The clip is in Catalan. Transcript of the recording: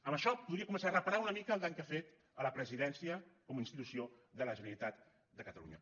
amb això podria començar a reparar una mica el dany que ha fet a la presidència com a institució de la generalitat de catalunya